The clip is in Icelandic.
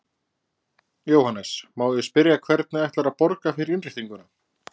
Jóhannes: Má ég spyrja, hvernig ætlarðu að borga fyrir innréttinguna?